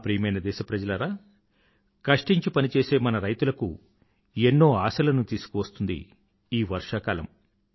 నా ప్రియమైన దేశప్రజలారా కష్టించి పనిచేసే మన రైతులకు ఎన్నో ఆశలను తీసుకువస్తుంది ఈ వర్షాకాలం